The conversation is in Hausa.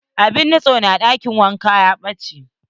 Abun nutse na ɗakin wanka ya ɓache.